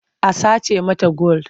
A sace mata gwal.